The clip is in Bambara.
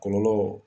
Kɔlɔlɔ